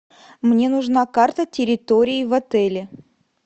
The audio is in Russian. мне нужна карта территории в отеле